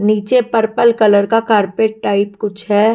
नीचे purple colour का carpet type कुछ है।